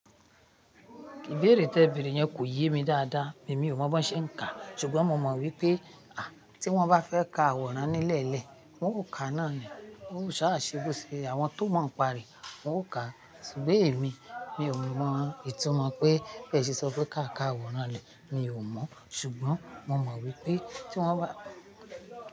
Ìbéèrè tẹ bèrè yẹn kò yé mi dáadáa, èmi ò mọ bí wọn ṣe ń kà á, ṣùgbọ́n mo mọ wípé à tí wọ́n bá fẹ́ ka àwòrán nílẹ̀ lẹ̀ wọ́n ó ka náà ni, wọ́n ó ṣáà ṣe àwọn tó mọ̀ ń pa rẹ̀, wọ́n ó ka á. Ṣùgbọ́n èmi, mi ò mọ ìtumọ̀ pé bẹ́ẹ̀ ṣe sọ pé ká ka àwòrán lẹ̀, mi ò mọ́. Ṣùgbọ́n mo mọ wípé tí wọ́n bá.